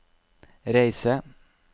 reise